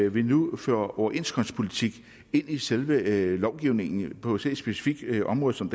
at vi nu føjer overenskomstpolitik ind i selve lovgivningen på så et specifikt område som